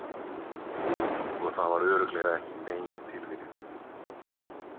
Og það var örugglega ekki nein tilviljun.